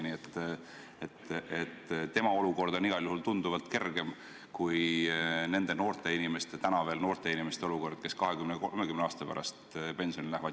Nii et tema olukord on igal juhul tunduvalt kergem kui nende noorte inimeste – täna veel noorte inimeste – olukord, kes 20–30 aasta pärast pensionile lähevad.